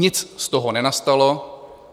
Nic z toho nenastalo.